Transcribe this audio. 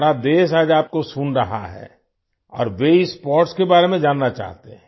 सारा देश आज आपको सुन रहा है और वे इस स्पोर्ट के बारे में जानना चाहते हैं